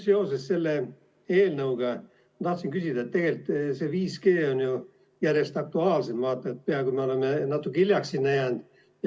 Seoses selle eelnõuga ma tahtsin küsida, et tegelikult see 5G on ju järjest aktuaalsem ja me oleme peaaegu et natuke hiljaks jäänud.